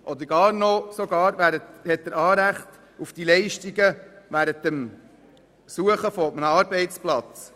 Er hat sogar noch Anrecht auf Leistungen während der Suche nach einem Arbeitsplatz.